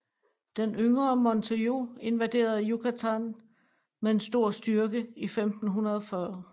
Den yngre Montejo invaderede Yucatán med en stor styrke i 1540